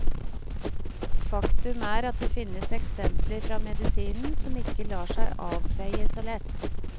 Faktum er at det finnes eksempler fra medisinen som ikke lar seg avfeie så lett.